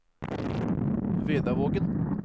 Vedavågen